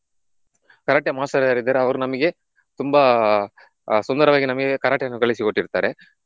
Karate master ಯಾರಿದ್ದಾರೆ ಅವರು ನಮಿಗೆ ತುಂಬಾ ಆಹ್ ಸುಂದರವಾಗಿ ನಮಿಗೆ Karate ಯನ್ನು ಕಲಿಸಿಕೊಟ್ಟಿರುತ್ತಾರೆ.